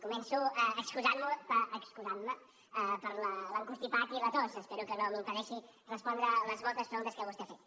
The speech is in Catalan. començo excusant me pel constipat i la tos espero que no m’impedeixi respondre les moltes preguntes que vostè ha fet